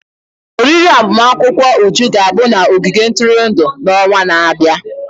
oriri agbamakwụkwọ Uju ga-abụ n'ogige ntụrụndụ n'ọnwa na-abịa.